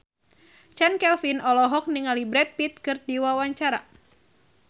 Chand Kelvin olohok ningali Brad Pitt keur diwawancara